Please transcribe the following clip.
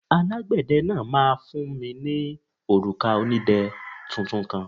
Alágbẹ̀dẹ náà máa fún mi ní òrùka onídẹ tuntun kan.